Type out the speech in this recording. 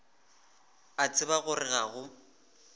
a tseba gore ga go